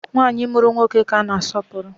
Nwanyị mụrụ nwoke ka a na asọpụrụ